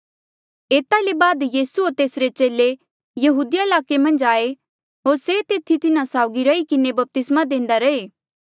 एता ले बाद यीसू होर तेसरे चेले यहूदिया ईलाके मन्झ आये होर से तेथी तिन्हा साउगी रही किन्हें बपतिस्मा देंदा रहें